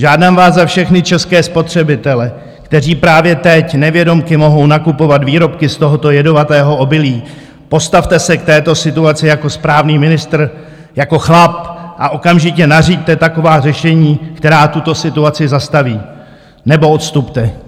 Žádám vás za všechny české spotřebitele, kteří právě teď nevědomky mohou nakupovat výrobky z tohoto jedovatého obilí: Postavte se k této situaci jako správný ministr, jako chlap, a okamžitě nařiďte taková řešení, která tuto situaci zastaví, nebo odstupte!